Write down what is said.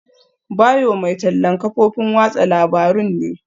Bayo mai tallan kafofin watsa labarun ne.